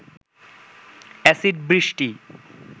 acid বৃষ্টি